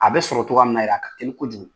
A bɛ sɔrɔ cɔgɔya min na, a ka teli kojugu.